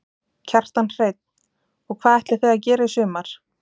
Kjartan Hreinn: Og hvað ætlið þið að gera í sumar?